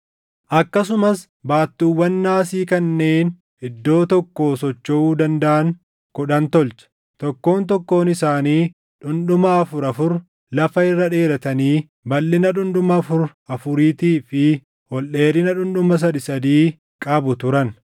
Akkasumas baattuuwwan naasii kanneen iddoo tokkoo sochoʼuu dandaʼan kudhan tolche; tokkoon tokkoon isaanii dhundhuma afur afur lafa irra dheeratanii balʼina dhundhuma afur afuriitii fi ol dheerina dhundhuma sadii sadii qabu turan.